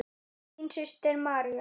Þín systir, María.